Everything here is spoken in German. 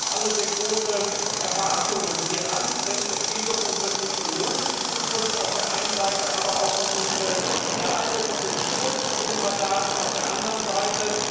Wir haben auch alle sehr große Erwartungen hieran, denn es geht um unsere technologische Zukunft auf der einen Seite, aber auch um unsere Daten und den Schutz unserer Daten auf der anderen Seite.